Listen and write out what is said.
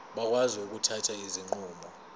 bakwazi ukuthatha izinqumo